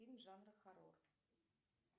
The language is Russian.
фильм жанра хоррор